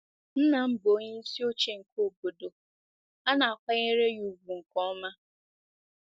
Nna m bụ onyeisi oche nke obodo a na-akwanyere ya ùgwù nke ọma.